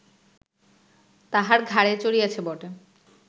তাঁহার ঘাড়ে চড়িয়াছে বটে